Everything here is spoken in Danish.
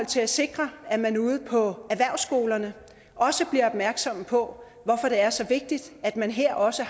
til at sikre at man ude på erhvervsskolerne også bliver opmærksomme på hvorfor det er så vigtigt at man her også